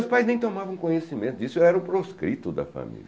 Meus pais nem tomavam conhecimento disso, eu era o proscrito da família.